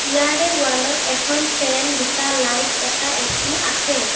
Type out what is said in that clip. ইয়াতে ৱালত এখন ফেন দুটা লাইট এটা এ_চি আছে।